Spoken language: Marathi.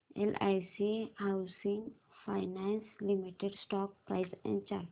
LIC housing finance limited stock price and chart